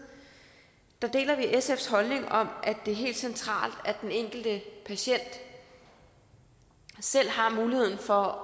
deler sfs holdning om at det er helt centralt at den enkelte patient selv har muligheden for